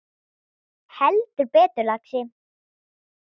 Heldur betur, lagsi